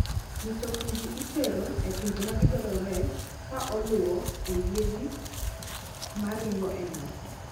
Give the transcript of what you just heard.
Mitokni gi itero e pinje ma gidwarore ka oluwo e yiedhi ma ringo e nam.